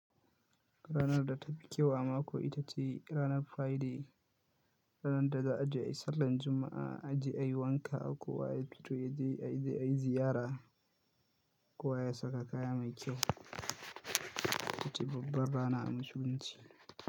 Ranar da ta fi kyau a mako ita ce ranar Friday, ranar da za a je a yi sallan Juma’a, a je a yi wanka ko wa ya fito ya je a yi ziyara, ko wa ya saka kaya mai kyau. Ita ce babbar rana a musulunci.